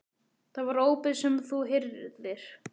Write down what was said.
Það var ópið sem þú heyrðir.